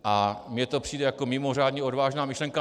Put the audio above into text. A mně to přijde jako mimořádně odvážná myšlenka.